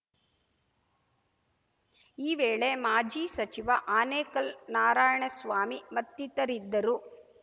ಈ ವೇಳೆ ಮಾಜಿ ಸಚಿವ ಆನೇಕಲ್‌ ನಾರಾಯಣಸ್ವಾಮಿ ಮತ್ತಿತರಿದ್ದರು